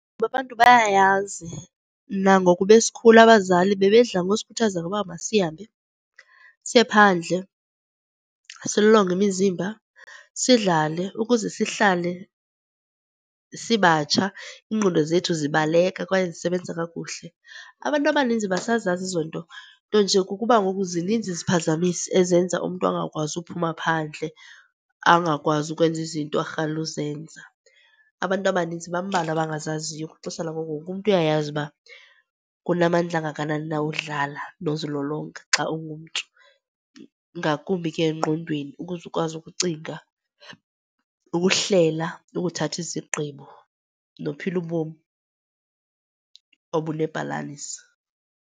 Ngoba abantu bayayazi nangoku besikhula abazali bebedla ngosikhuthaza ngoba masihambe siye phandle silolonge imizimba, sidlale ukuze sihlale sibatsha, iingqondo zethu zibaleka kwaye zisebenza kakuhle. Abantu abaninzi basazazi ezo nto, nto nje kukuba ngoku zininzi iziphazamisi ezenza umntu angakwazi uphuma phandle. Angakwazi ukwenza izinto arhalela uzenza, abantu abaninzi. Bambalwa abangazaziyo. Kwixesha langoku wonke umntu uyayazi uba kunamandla angakanani na udlala nozilolonga xa ungumntu, ngakumbi ke engqondweni ukuze ukwazi ukucinga, ukuhlela, ukuthatha izigqibo, nophila ubom obunebhalansi.